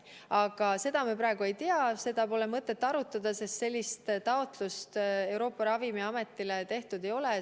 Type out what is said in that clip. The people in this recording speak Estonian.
Aga seda me praegu ei tea, seda pole mõtet arutada, sest sellist taotlust Euroopa Ravimiametile tehtud ei ole.